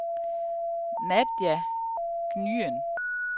Nadia Nguyen